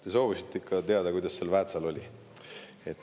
Te soovisite teada, kuidas seal Väätsal oli.